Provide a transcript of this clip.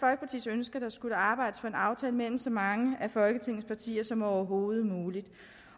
ønske at der skulle arbejdes på en aftale mellem så mange af folketingets partier som overhovedet muligt